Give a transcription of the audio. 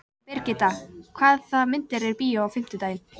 Brigitta, hvaða myndir eru í bíó á fimmtudaginn?